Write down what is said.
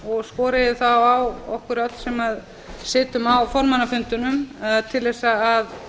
og skora þá á okkur öll sem sitjum á formannafundunum til að